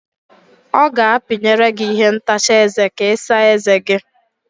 Ọ ga-apinyere gị ihe ntacha eze ka Ị saa eze gi.